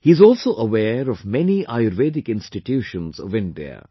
He is also aware of many Ayurvedic institutions of India